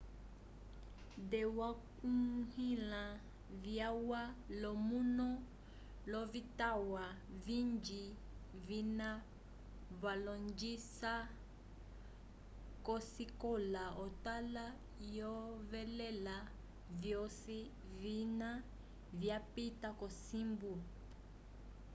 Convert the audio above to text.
te wakunlya vyalwa lo manu lovitwa vingi vina valongisa kosikola otala oyevelela vyoci vina vyapita kocimbu